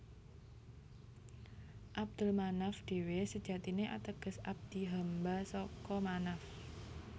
Abdul Manaf dhewe sejatine ateges abdi hamba saka Manaf